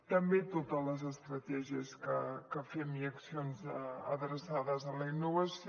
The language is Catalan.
també totes les estratègies que fem i accions adreçades a la innovació